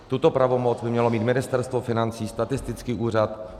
Tuto pravomoc by mělo mít Ministerstvo financí, statistický úřad.